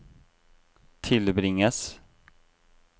tilbringes